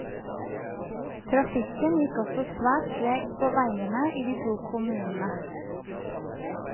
Trafikken gikk også svært tregt på veiene i de to kommunene.